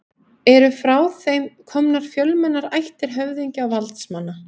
eru frá þeim komnar fjölmennar ættir höfðingja og valdsmanna